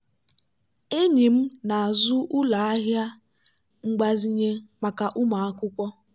enyi m na-azụ ụlọ ahịa mgbazinye maka ụmụ akwụkwọ.